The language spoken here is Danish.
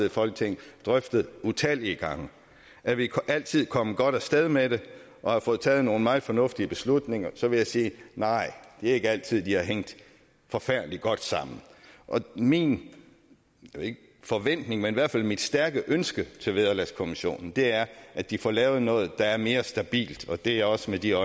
i folketinget drøftet utallige gange er vi altid kommet godt af sted med det og har fået taget nogle meget fornuftige beslutninger til det vil jeg sige nej det er ikke altid de har hængt forfærdelig godt sammen min forventning og i hvert fald mit stærke ønske til vederlagskommissionen er at de får lavet noget der er mere stabilt og det er også med det